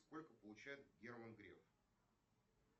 сколько получает герман греф